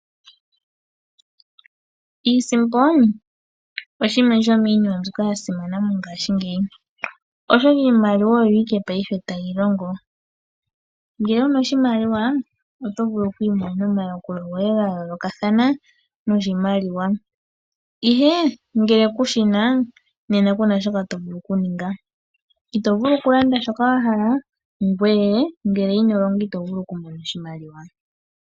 Iisimpo shimwe shomiinima mbyoka ya simana methimbo lyongaashingeyi, oshoka iimaliwa oyo owala tayi longo. Ngele wu na oshimaliwa oto vulu oku imonena omayakulo goye ga yoolokathana noshimaliwa, ihe ngele ku shi na ku na shoka to vulu okuninga. Ito vulu okulanda shoka wa hala ngoye ngele ino longa ito vulu okumona oshimaliwa.